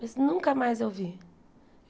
Mas nunca mais eu vi.